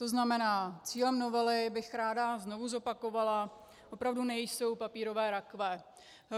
To znamená, cílem novely, ráda bych znovu zopakovala, opravdu nejsou papírové rakve.